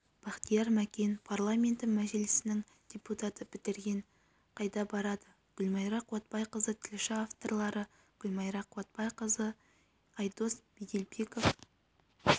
бахтияр мәкен парламенті мәжілісінің депутаты бітіргендер қайда барады гүлмайра қуатбайқызы тілші авторлары гүлмайра қуатбайқызы айдос меделбеков